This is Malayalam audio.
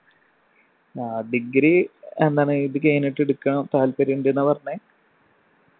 ആ degree എന്താണ് ഇത് കഴിഞ്ഞിട്ടെടുക്കാൻ താല്പര്യം ഉണ്ട് ന്നാ പറഞ്ഞെ